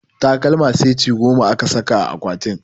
Takalma seti goma aka saka a akwatin